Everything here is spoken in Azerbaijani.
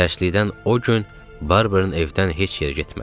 Təşlikdən o gün Barbern evdən heç yerə getmədi.